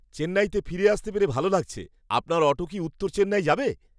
চেন্নাইতে ফিরে আসতে পেরে ভালো লাগছে। আপনার অটো কি উত্তর চেন্নাই যাবে?